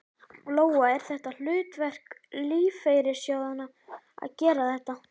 Lóa: Er þetta hlutverk lífeyrissjóðanna að gera þetta?